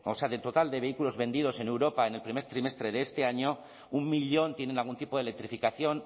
sea de total de vehículos vendidos en europa en el primer trimestre de este año un millón tienen algún tipo de electrificación